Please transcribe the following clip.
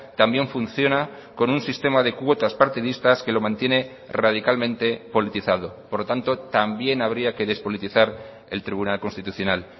también funciona con un sistema de cuotas partidistas que lo mantiene radicalmente politizado por lo tanto también habría que despolitizar el tribunal constitucional